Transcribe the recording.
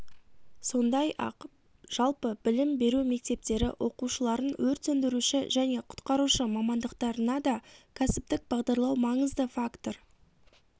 сондай-ақ жалпы білім беру мектептері оқушыларын өрт сөндіруші және құтқарушы мамандықтарына да кәсіптік бағдарлау маңызды фактор